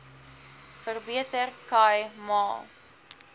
verbeter khai ma